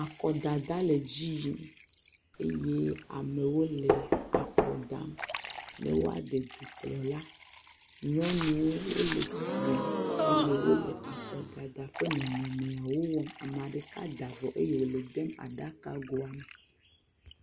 Akɔdada le edzi yim. Eye amewo le akɔ dam be woaɖe dukplɔla. Nyɔnuwo, wole flime eye wole akɔdada ƒe nɔnɔmeawo wɔm. ame ɖeka da vɔ eye wòle edem aɖakagoa me.